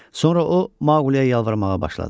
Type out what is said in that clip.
Sonra o Mauqliyə yalvarmağa başladı.